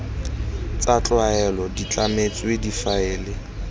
tsa tlwaelo di tlametswe difaele